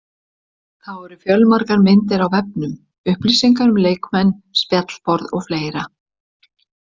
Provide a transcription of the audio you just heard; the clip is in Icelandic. Þá eru fjölmargar myndir á vefnum, upplýsingar um leikmenn, spjallborð og fleira.